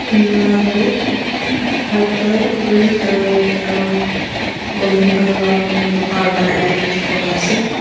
emm mala toh white colour green aro red aro emm golden colour round kurikina loha para bonaina dikipo pari asae.